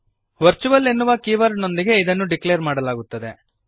virtual ಎನ್ನುವ ಕೀವರ್ಡನೊಂದಿಗೆ ಇದನ್ನು ಡಿಕ್ಲೇರ್ ಮಾಡಲಾಗುತ್ತದೆ